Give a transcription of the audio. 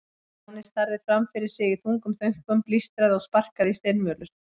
Stjáni starði fram fyrir sig í þungum þönkum, blístraði og sparkaði í steinvölur.